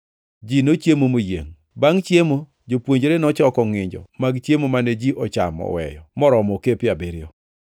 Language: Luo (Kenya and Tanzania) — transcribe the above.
Ji nochiemo moyiengʼ. Bangʼ chiemo jopuonjre nochoko ngʼinjo mag chiemo mane ji ochamo oweyo moromo okepe abiriyo.